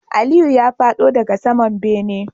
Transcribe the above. Aliyu ya fado daga saman bene